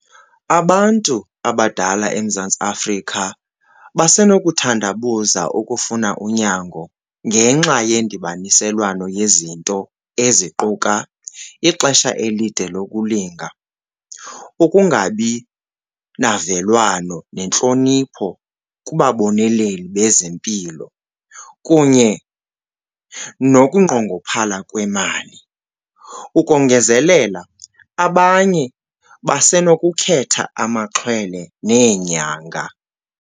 Abantu abadala eMzantsi Afrika basenokuthandabuza ukufuna unyango ngenxa yendibaniselwano yezinto eziquka ixesha elide lokulinda, ukungabi navelwano nentlonipho kubaboneleli bezempilo kunye nokunqongophala kwemali. Ukongezelela, abanye basenokukhetha amaxhwele neenyanga.